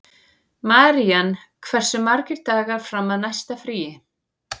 Marían, hversu margir dagar fram að næsta fríi?